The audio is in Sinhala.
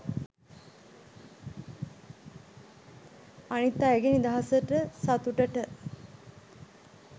අනිත් අයගෙ නිදහසට සතුටට